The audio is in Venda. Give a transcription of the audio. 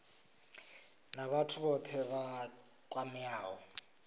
na vhathu vhothe vha kwameaho